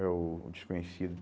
É o desconhecido.